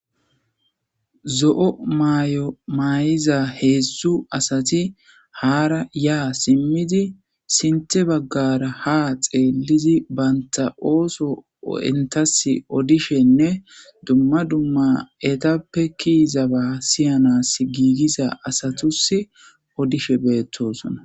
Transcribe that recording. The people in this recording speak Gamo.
zo7o mayo maay7iza heedzdzu asati haara yaa simmidi sinte baggara ha xeellizi baynta ooso entas odishenne dumma dumma etappe kiiza ba siyanas giigiza asatus odishe beettosona